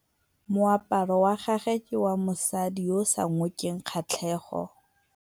Moaparô wa gagwe ke wa mosadi yo o sa ngôkeng kgatlhegô.